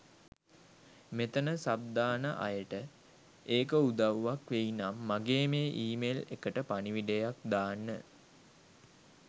මෙතන සබ් දාන අයට ඒක උදව්වක් වෙයි නම් මගේ මේ ඊමෙල් එකට පණිවිඩයක් දාන්න.